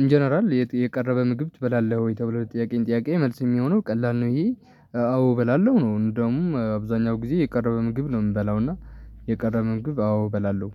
እንጀነራል የቀረበ ምግብ ትበላለህ ወይ ተብለህ ጥያቄን ጥያቄ መልስ የሚሆነው ቀላል ነው። ይሄ አዎ እበላለሁ ነው። እንደውም አብዛኛው ጊዜ የቀረበ ምግብ ነው የምበላው እና የቀረበ ምግብ አዎ እበላለሁ